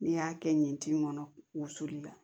N'i y'a kɛ nin tin kɔnɔ wusuli la